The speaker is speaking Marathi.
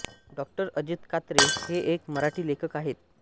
डाॅ अजित कात्रे हे एक मराठी लेखक आहेत